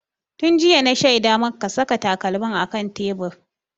Tun jiya na shaida maka ka saka takalmin a kan tebur!